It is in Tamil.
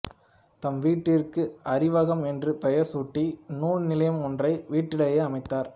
தம் வீட்டிற்கு அறிவகம் என்று பெயர் சூட்டி நூல் நிலையம் ஒன்றை வீட்டிலேயே அமைத்தார்